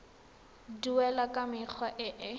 duelwa ka mekgwa e e